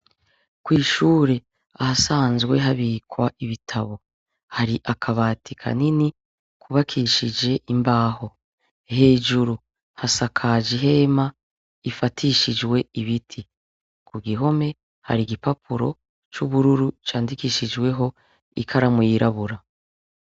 Kw'ishure ahasanzwe habikwa ibitabo, hari akabati kanini kubakishije imbaho, hejuru hasakaje ihema ifatishijwe ibiti, ku gihome hari igipapuro c'ubururu candikishijweho ikaramu yirabura.